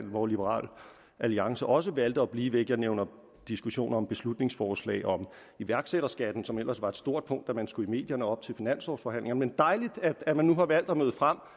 hvor liberal alliance også valgte at blive væk jeg nævner diskussionen om et beslutningsforslag om iværksætterskat som ellers var et stort punkt da man skulle i medierne op til finanslovforhandlingerne men dejligt at man nu har valgt at møde frem